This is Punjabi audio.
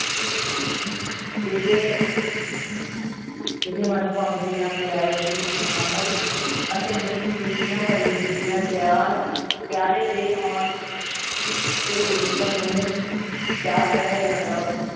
ਕਿਸੇ ਕਿਸੇ ਮਨ ਭਾਉਂਦੇ ਜਾਂ ਪਿਆਰੇ ਦੀ ਅਮ~ ਆਮਦ ਅਤੇ ਮਿਲ ਖ਼ੁਸ਼ੀਆਂ ਭਰੀ ਹੁੰਦੀ ਹੈ, ਪਿਆਰ ਪਿਆਰੇ ਦੇ ਆਉਣ ਤੇ ਉਡੀਕਣ ਨੂੰ ਚਾਅ ਚੜ੍ਹਿਆ ਜਾਂਦਾ l